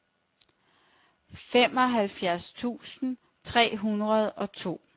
femoghalvfjerds tusind tre hundrede og to